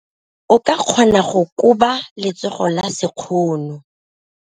O ka kgona go koba letsogo ka sekgono.